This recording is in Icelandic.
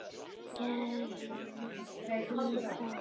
Gerði ég það?